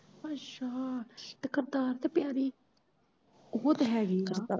ਅੱਛਾ ਤੇ ਕਰਤਾਰ ਤੇ ਪਿਆਰੀ, ਉਹ ਤੇ ਹੈਗੀਆ।